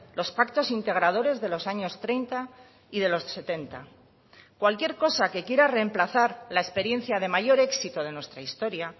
los pactos integradores de los años treinta y de los setenta cualquier cosa que quiera remplazar la experiencia de mayor éxito de nuestra historia